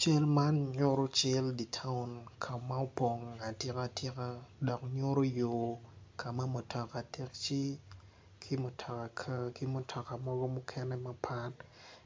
Cal man nyutu cal di taun ka ma opong atika tika dok nyutu yo ka ma mutoka taci ki mutoka kar ki mutoka mogo mukene mapat